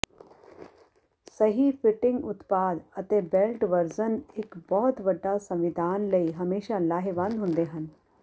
ਸਹੀ ਫਿਟਿੰਗ ਉਤਪਾਦ ਅਤੇ ਬੇਲਟ ਵਰਜ਼ਨ ਇੱਕ ਬਹੁਤ ਵੱਡਾ ਸੰਵਿਧਾਨ ਲਈ ਹਮੇਸ਼ਾਂ ਲਾਹੇਵੰਦ ਹੁੰਦੇ ਹਨ